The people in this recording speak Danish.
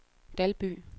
Dalby